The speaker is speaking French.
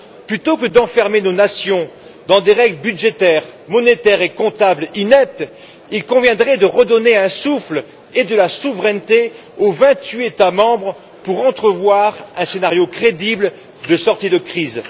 Plutôt que d'enfermer nos nations dans des règles budgétaires, monétaires et comptables ineptes, il conviendrait de redonner un souffle et de la souveraineté aux vingt huit États membres pour entrevoir un scénario crédible de sortie de crise.